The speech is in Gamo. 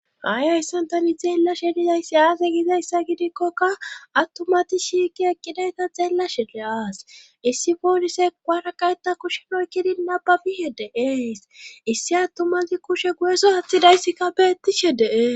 haayayssan tani xeella shelizayssi aase gizayssa gidikkokka attumati shiiki ekkidayta xeella shede7aas issi foolise gwaraqayta kushenoykkidi nababishe deees issi attumazi kushe guyeso haththidayssika beettishe dee